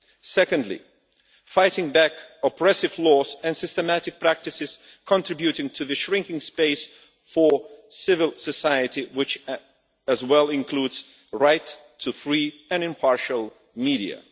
Secondly, fighting back oppressive laws and systematic practices contributing to the shrinking space for civil society, which includes rights to free and impartial media.